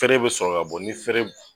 Tɛrɛ bɛ sɔrɔ ka bɔ ni fɛrɛ